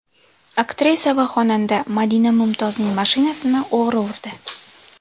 Aktrisa va xonanda Madina Mumtozning mashinasini o‘g‘ri urdi.